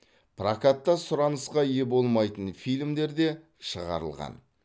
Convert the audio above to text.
прокатта сұранысқа ие болмайтын фильмдер де шығарылған